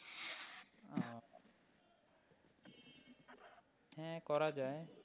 হ্যাঁ করা যায়।